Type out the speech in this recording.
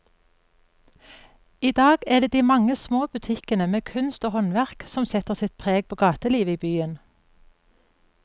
I dag er det de mange små butikkene med kunst og håndverk som setter sitt preg på gatelivet i byen.